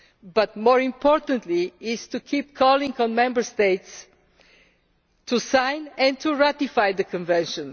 But more important is to keep calling on the Member States to sign and ratify the Convention.